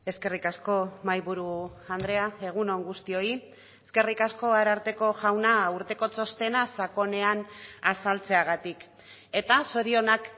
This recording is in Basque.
eskerrik asko mahaiburu andrea egun on guztioi eskerrik asko ararteko jauna urteko txostena sakonean azaltzeagatik eta zorionak